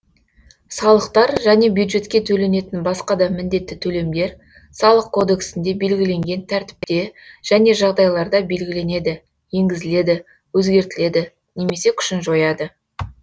салықтар және бюджетке төленетін басқа да міндетті төлемдер салық кодексінде белгіленген тәртіпте және жағдайларда белгіленеді енгізіледі өзгертіледі немесе күшін жояды